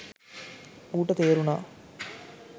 ඌට තේරුණා